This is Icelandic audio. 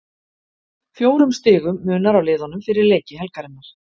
Fjórum stigum munar á liðunum fyrir leiki helgarinnar.